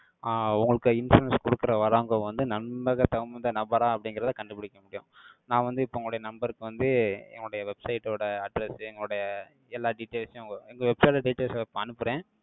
ஆஹ் உங்களுக்கு insurance கொடுக்கிற, வர்றவங்க வந்து நம்பகத் தகுந்த நபரா? அப்படிங்கிறதை, கண்டுபிடிக்க முடியும் நான் வந்து, இப்ப உங்களுடைய number க்கு வந்து, எங்களுடைய website ஓட address, எங்களுடைய எல்லா details ம் உங்க உங்க website details உ இப்ப அனுப்புறேன்.